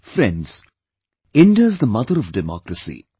Friends, India is the mother of democracy